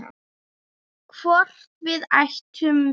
Hvort við ættum vín?